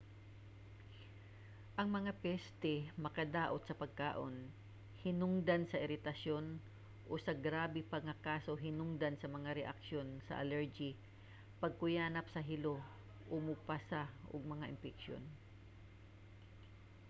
ang mga peste makadaot sa pagkaon hinungdan sa iritasyon o sa grabe pa nga kaso hinungdan sa mga reaksyon sa allergy pagkuyanap sa hilo o mopasa og mga impeksyon